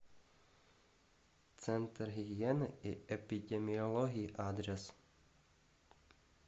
центр гигиены и эпидемиологии адрес